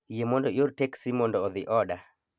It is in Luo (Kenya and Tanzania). Yie mondo ior teksi mondo odhi oda